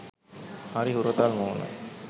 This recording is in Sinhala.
හරි හුරතල් මූණ